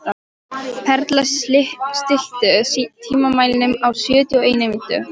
Perla, stilltu tímamælinn á sjötíu og eina mínútur.